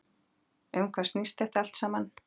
Um hvað snýst þetta allt saman?